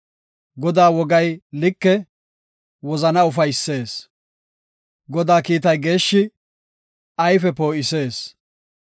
Godaa wogay like; wozana ufaysees. Godaa kiitay geeshshi; ayfe poo7isees.